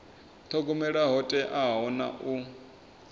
thogomela ho teaho na u